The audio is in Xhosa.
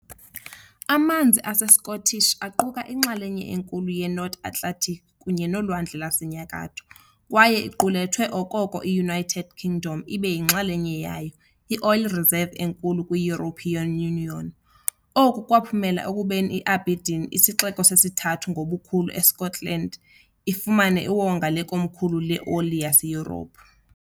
Amanzi aseScottish aquka inxalenye enkulu yeNorth Atlantic kunye noLwandle lwaseNyakatho, kwaye iqulethwe, okoko i-United Kingdom ibe yinxalenye yayo, i-oil reserve enkulu kwi- European Union, oku kwaphumela ekubeni iAberdeen, isixeko sesithathu ngobukhulu eSkotlani, ifumane iwonga lekomkhulu leoli laseYurophu.